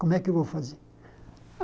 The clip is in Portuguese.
Como é que eu vou fazer?